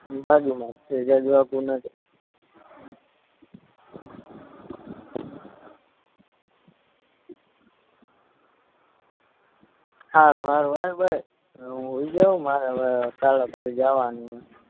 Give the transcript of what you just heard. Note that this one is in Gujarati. ઈની બાજુમાંજ છે જાજુ આઘું નથી સારું સારું હાયલ ભાઈ હું સુયજાવ મારે હવે કાલે પછી જાવાનું છે